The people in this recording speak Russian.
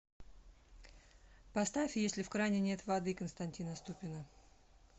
поставь если в кране нет воды константина ступина